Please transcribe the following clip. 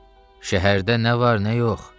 Şəhərdə nə var, nə yox?